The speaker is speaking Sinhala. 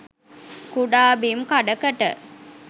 කුඩා බිම් කඩකට